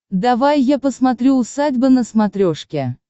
давай я посмотрю усадьба на смотрешке